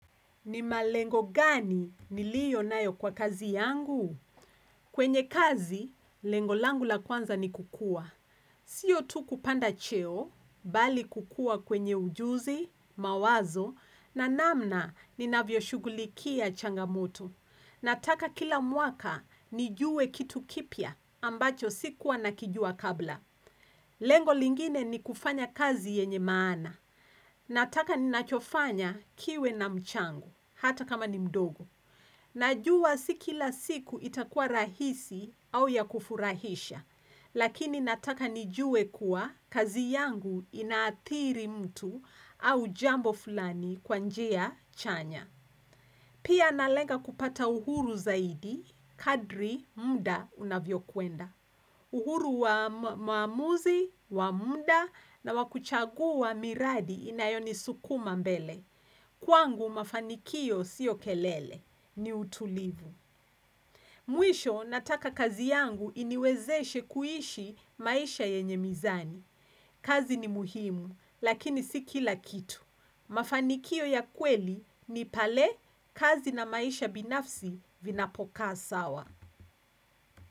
Ni malengo gani ni liyo nayo kwa kazi yangu? Kwenye kazi, lengo langu la kwanza ni kukua. Siyo tu kupanda cheo, bali kukua kwenye ujuzi, mawazo, na namna ni navyo shugulikia changamuto. Nataka kila mwaka, nijue kitu kipya, ambacho sikuwa nakijua kabla. Lengo lingine ni kufanya kazi yenye maana. Nataka ninachofanya kiwe na mchango, hata kama nimdogo. Najua si kila siku itakua rahisi au yakufurahisha, lakini nataka nijue kuwa kazi yangu inaatiri mtu au jambo fulani kwanjea chanya. Pia analenga kupata uhuru zaidi, kadri, muda, unavyo kuenda. Uhuru wa maamuzi, wa muda, na wakuchagu wa miradi inayoni sukuma mbele. Kwangu mafanikio sio kelele, ni utulivu. Mwisho nataka kazi yangu iniwezeshe kuishi maisha yenye mizani. Kazi ni muhimu, lakini si kila kitu. Mafanikio ya kweli ni pale, kazi na maisha binafsi vinapokaa sawa.